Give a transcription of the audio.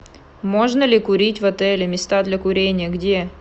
можно ли курить в отеле места для курения где